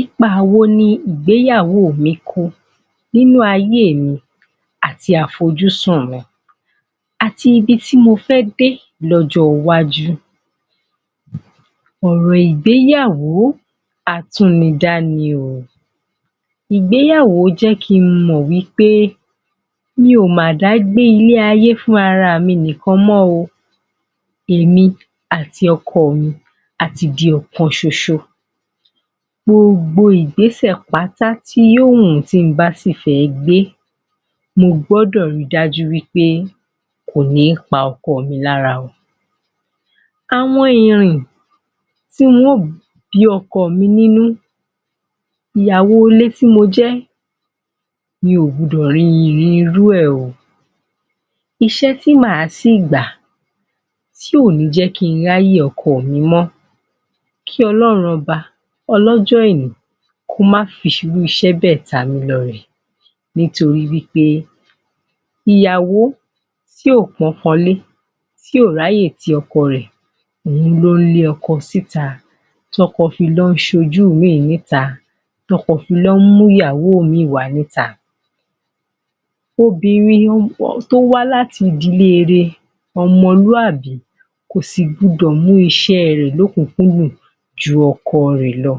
Ipaa wo ni ìgbéyàwó mi kó nínú ayé mi àti àfojúsùn mi àti ibi tí mo fẹ́ dé lójówájú? Òrò ìgbéyàwó atúnidá ni o. Ìgbéyàwó jé kí n mọ̀ pé mi o mà dá gbé ilé ayé fúnra mi nìkan mọ́ o. Èmi àti ọkọ mi ati ti ọ̀kan ṣoṣo. Gbogbo ìgbésẹ̀ pátá tí yóò wù tí ń bá sì fẹ́ gbé mo gbọ́dọ̀ ri dájú wípé kò ní pa ọkọ mi lára o. Àwọn irin tí ó bí ọkọ mi nínú ìyàwó ilé tí mo jẹ́ mi ò gbọdọ rin ìrin rú ẹ̀ o. Iṣẹ́ tí màá ṣì gbà tí ò ní jẹ́ kí n ráyè ọkọ mi mọ, kí Ọlọ́run Ọba ọlọ́jọ́ èní kó máa fi irú iṣẹ́ béè tamílọ́rẹ. Nítorí wípé ìyàwó tí ò pọ́nkolé, tí ò ráyè ti ọkọ rẹ̀ òhun ló ń lé ọkọ síta. Tọ́kọ fi lọ ń ṣe ojú mìí níta. Tọ́kọ fi lọ ń mú ìyàwó mìí wá níta. Obìnrin tó bá wá láti ìdílé re, ọmọlúàbí kò sì gbudọ̀ mú iṣé rẹ̀ lókùnkúndùn ju ọkọ rẹ̀ lọ.